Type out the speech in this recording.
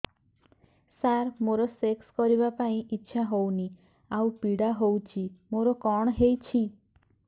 ସାର ମୋର ସେକ୍ସ କରିବା ପାଇଁ ଇଚ୍ଛା ହଉନି ଆଉ ପୀଡା ହଉଚି ମୋର କଣ ହେଇଛି